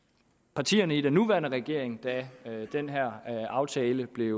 partierne i den nuværende regering da den her aftale blev